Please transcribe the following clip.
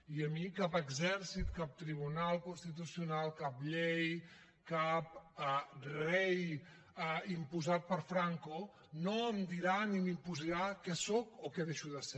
i a mi cap exèrcit cap tribunal constitucional cap llei cap rei imposat per franco no em dirà ni m’imposarà què sóc o què deixo de ser